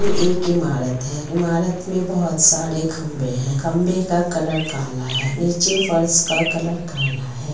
ये एक इमारत है। इमारत मे बहुत सारे खंबे हैं। खंबे का कलर काला है। नीचे फर्श का कलर काला है ।